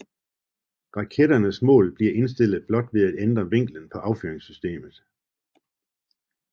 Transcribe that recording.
Raketternes mål bliver indstillet blot ved at ændre vinklen på affyringssystemet